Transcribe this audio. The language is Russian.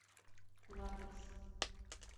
латекс